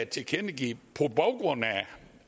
tilkendegive på baggrund af